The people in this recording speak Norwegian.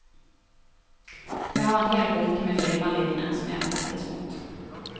Jeg har en hel bunke med filmer liggende som jeg trekkes mot.